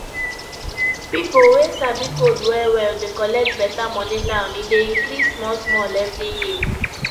pipo wey sabi code wellwell dey collect better money now e dey increase smallsmall every year